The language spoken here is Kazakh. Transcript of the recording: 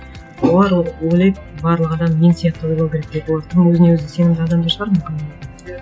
олар ойлайды барлық адам мен сияқты ойлау керек деп олар тура өзіне өзі сенімді адамдар шығар мүмкін